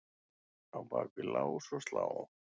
á bak við lás og slá.